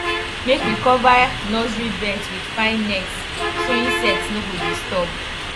make we cover nursery beds with fine nets so insect no go disturb